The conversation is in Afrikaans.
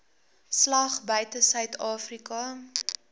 slag buite suidafrika